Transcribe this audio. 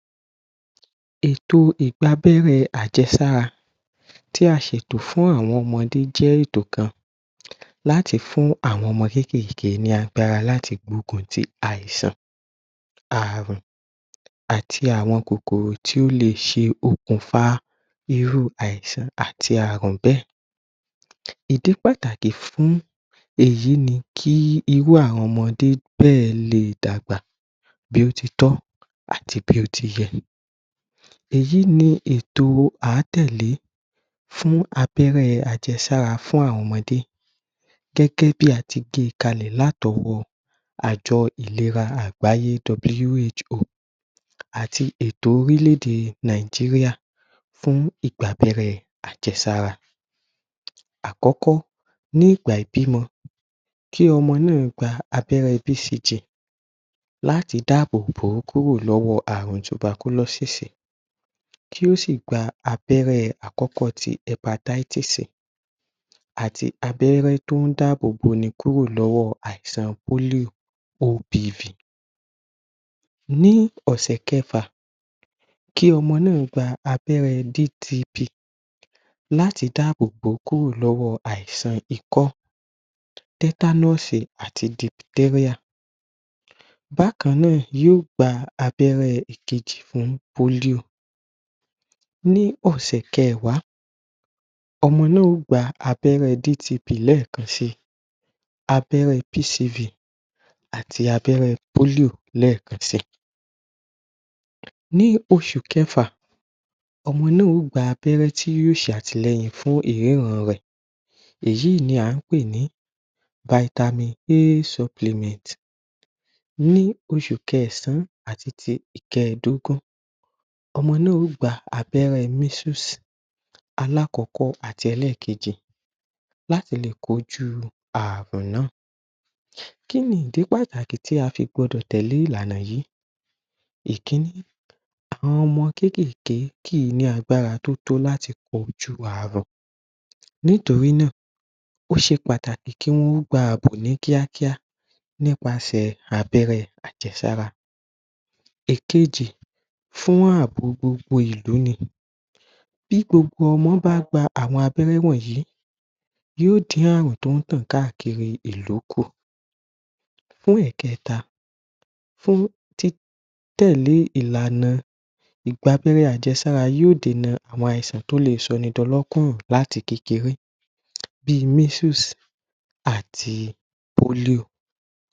Ètò ìgbàbẹ́rẹ́ àjẹsára tí a ṣètò fún àwọn ọmọdé jẹ́ ètò kan láti fún àwọn ọmọ kéékèèké ní agbára láti gbógun tí àìsàn àrùn àti àwọn kòkòrò tí ó lè ṣe okùnfà irú àìsàn àti àrùn bẹ́ẹ̀. Ìdí pàtàkì fún ̀èyí ni kí irú àwọn ọmọdé bẹ́ẹ̀ lè dàgbà bí ó titọ́ àti bí ó tiyẹ. Èyí ní ètò a tẹ̀lé fún abẹ́rẹ́ àjẹsára fún àwọn ọmọdé gẹ́gẹ́ bí a ti gbe kalẹ̀ láti ọwọ́ àjọ ìlera àgbáyé àti ètò orílẹ̀-èdè Nàìjíríà fún ìgbàbẹ́rẹ́ àjẹsára. Àkọ́kọ́, ní ìgbà ìbímọ kí ọmọ náà gbà abẹ́rẹ́ láti dáàbò kúrò lọ́wọ́ àrùn tubakúlọ́sìsì kí ó sì gbà abẹ́rẹ́ àkọ́kọ́ ti àti abẹ́rẹ́ tí ó dààbò bò ẹni kúrò lọ́wọ́ àìsàn. Ní ọ̀sẹ̀ kẹfà kí ọmọ náà gbà abẹ́rẹ́ láti dáàbò bò kúrò lọ́wọ́ àìsàn ikọ́ àti. Bákan náà, yóò gbà abẹ́rẹ́ ìkejì fún Ní ọ̀sẹ̀ kẹwàá ọmọ náà ó gba abẹ́rẹ́ lẹ́ẹ̀kan si abẹ́rẹ́ àti abẹ́rẹ́ lẹ́ẹ̀kan si. Ní oṣù kẹfà ọmọ náà o gbà abẹ́rẹ́ tí yóò ṣe àtìlẹ́yìn fún ìríran rẹ̀ èyí ní a pé ní Ní oṣù kẹ̀san àti ti ìkẹdógún, ọmọ náà ó gbà abẹ́rẹ́ alákọ́kọ́ àti ẹlẹ́kejì láti lè kojú àrùn náà. Kí ni ìdí pàtàkì tí a fi gbọdọ̀ tẹ̀lé ìlànà yìí? Ìkíní Àwọn ọmọ kéékèèké kì í ní agbára tó tó láti kojú àrùn nítorí náà ó ṣe pàtàkì kí wọn gbà ààbò ní kíákíá nípaṣè abẹ́rẹ́ àjẹsára Ìkejì fún ààbò gbogbo ìlú ni bí gbogbo ọmọ bá gbà àwọn abẹ́rẹ́ wọ̀nyí yóò dí àrùn tí ó tàn káàkiri ìlú kù. Fún ìkẹta fún tẹ̀lé ìlànà ìgbàbẹ́rẹ́ àjẹsára yóò dènà àwọn àìsàn tó lè sọni di ọlọ́kùrù láti kékeré bí àti.